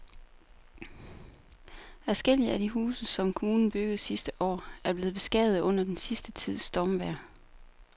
Adskillige af de huse, som kommunen byggede sidste år, er blevet beskadiget under den sidste tids stormvejr.